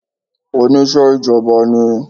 Onise ìjọba ni